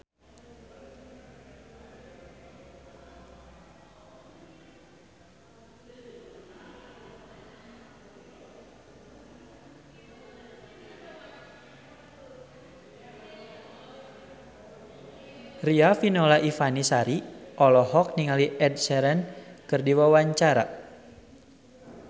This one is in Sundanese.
Riafinola Ifani Sari olohok ningali Ed Sheeran keur diwawancara